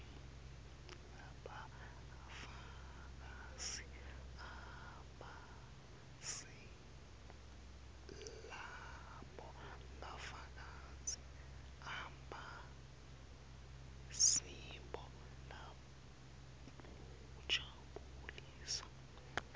lobufakazi abusibo lobujabulisako